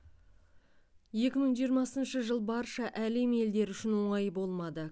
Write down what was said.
екі мың жиырмасыншы жыл барша әлем елдері үшін оңай болмады